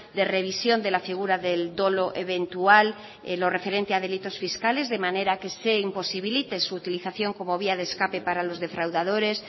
de revisión de la figura del dolo eventual lo referente a los delitos fiscales de manera que se imposibilite su utilización como vía de escape para los defraudadores